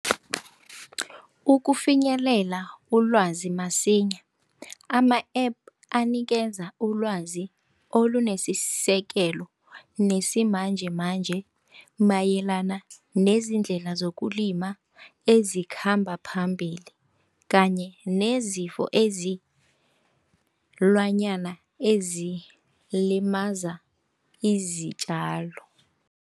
Ukufinyelela ulwazi masinya ama-App anikeza ulwazi olunesisekelo nesimanjemanje mayelana nezinye iindlela zokulima ezikhamba phambili kanye nezifo ezilimaza izitjalo.